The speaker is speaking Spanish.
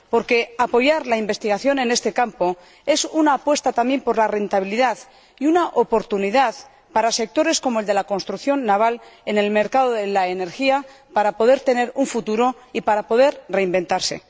Porque apoyar la investigación en este campo es una apuesta también por la rentabilidad y una oportunidad para sectores, como el de la construcción naval, en relación con el mercado de la energía, de poder tener un futuro y poder reinventarse.